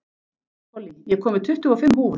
Pollý, ég kom með tuttugu og fimm húfur!